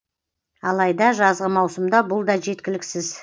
алайда жазғы маусымда бұл да жеткіліксіз